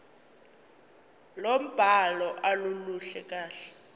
lombhalo aluluhle kahle